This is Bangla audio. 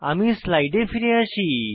আমি স্লাইডে ফিরে আসি